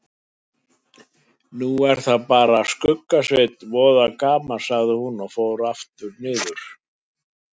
Nú er það bara Skugga-Sveinn, voða gaman sagði hún og fór niður aftur.